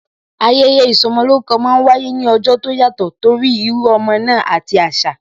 Ayẹyẹ ìsọmolórúkọ máa ń wáyé ní ọjọ́ tó yàtò torí írú ọmọ náà àti asa